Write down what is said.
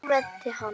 Nú kúventi hann.